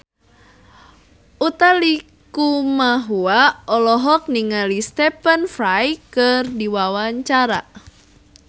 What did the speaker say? Utha Likumahua olohok ningali Stephen Fry keur diwawancara